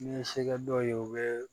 N'i ye se kɛ dɔ ye u bɛ